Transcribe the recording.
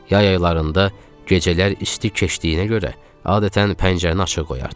Yay aylarında gecələr isti keçdiyinə görə adətən pəncərəni açıq qoyardıq.